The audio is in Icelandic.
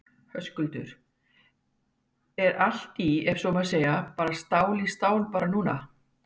Höskuldur: Er allt í, ef svo má segja, bara stál í stál bara núna?